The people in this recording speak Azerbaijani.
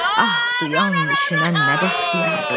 Ah duyan düşünən nə bəxtiyardır.